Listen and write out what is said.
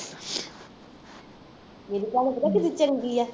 ਮੇਰੀ ਭੈਣ ਪਤਾ ਕਿੰਨੀ ਚੰਗੀ ਹੈ